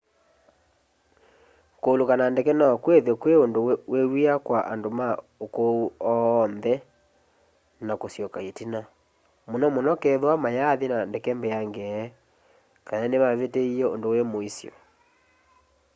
kuuluka na ndeke no kwithwe kwi undu wi wia kwa andu ma ukuu oonthe na kusyoka itina muno muno kethwa mayaathi na ndeke mbeangeni kana nimavitiie undu wi muisyo